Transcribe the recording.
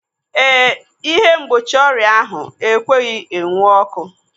Eh, ịhe mgbochi ọrịa ahụ ekweghị enwu ọkụ.